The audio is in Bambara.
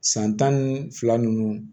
San tan ni fila nunnu